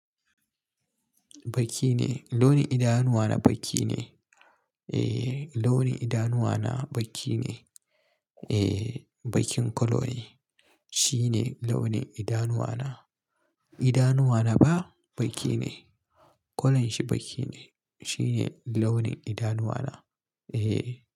Baki ne launin idanuwana baki ne. Eh, launin idanuwana baƙi ne. Eh, bakin kwalo ne. Shi ne launin idanuwana. Idanuwana ba baƙi ne. Kwalon shi baƙi ne. Shi ne launin idanuwana. Eh.